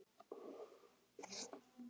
Þín Jónína.